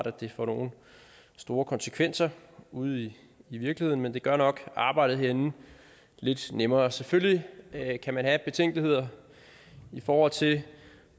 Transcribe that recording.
at det får nogen store konsekvenser ude i virkeligheden men det gør nok arbejdet herinde lidt nemmere selvfølgelig kan kan man have betænkeligheder i forhold til